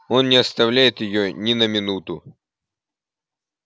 он не оставляет её ни на минуту